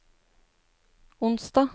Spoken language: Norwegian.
onsdag